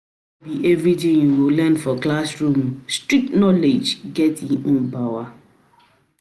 be everything you go learn for classroom, street knowledge get e own power.